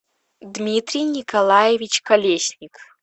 дмитрий николаевич колесник